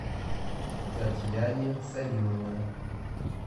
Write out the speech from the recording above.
татьяне салимовна